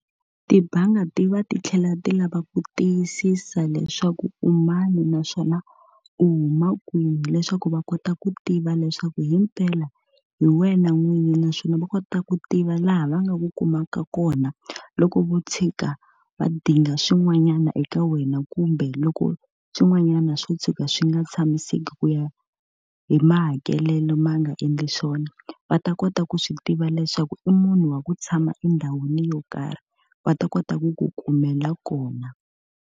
Tibangi ti va ti tlhela ti lava ku tiyisisa leswaku u mani naswona u huma kwini, leswaku va kota ku tiva leswaku himpela hi wena n'winyi. Naswona va kota ku tiva laha va nga ku kumaka kona loko vo tshika va dinga swin'wanyana eka wena kumbe loko swin'wanyana swo tshuka swi nga tshamiseki ku ya hi mahakelelo ma nga endli swona. Va ta kota ku swi tiva leswaku i munhu wa ku tshama endhawini yo karhi, va ta kota ku ku kumela kona.